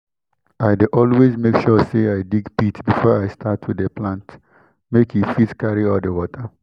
i dey always make sure say i dig pit before i start to dey plant make e fit carry all di water